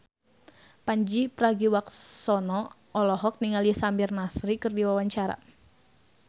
Pandji Pragiwaksono olohok ningali Samir Nasri keur diwawancara